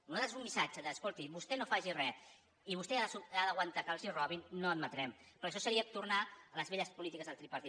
nosaltres un missatge d’ escolti vostè no faci res i vostè ha d’aguantar que li robin no l’admetrem perquè això seria tornar a les velles polítiques del tripartit